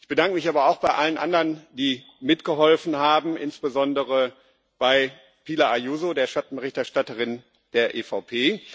Ich bedanke mich aber auch bei allen anderen, die mitgeholfen haben, insbesondere bei Pilar Ayuso, der Schattenberichterstatterin der EVP.